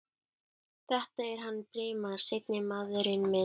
Þetta er hann Brimar. seinni maðurinn minn.